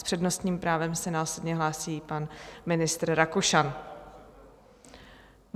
S přednostním právem se následně hlásí pan ministr Rakušan.